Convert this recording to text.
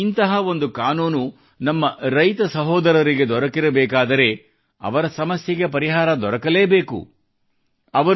ಈಗ ಇಂತಹ ಒಂದು ಕಾನೂನು ನಮ್ಮ ರೈತ ಸಹೋದರರಿಗೆ ದೊರಕಿರಬೇಕಾದರೆ ಅವರ ಸಮಸ್ಯೆಗೆ ಪರಿಹಾರ ದೊರಕಲೇಬೇಕು